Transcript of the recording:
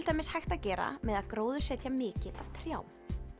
dæmis hægt að gera með því að gróðursetja mikið af trjám